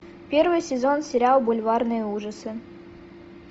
первый сезон сериал бульварные ужасы